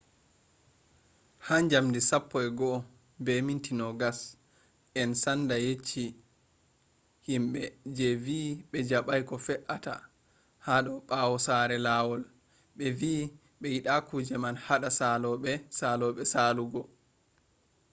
ha 11:20 en sanda yecci himbe je vi be jabai ko fe’ata hota bawo ha sera lawol be vi be yida kuje man hada salobe salobe saluugo